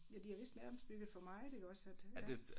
Ja de har vist nærmest bygget for meget iggås at ja